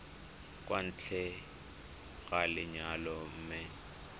kwa ntle ga lenyalo mme